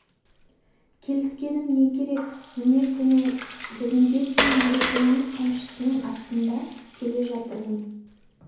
келіскенім не керек міне күні бүгінге дейін нүрекеңнің қамшысының астында келе жатырмын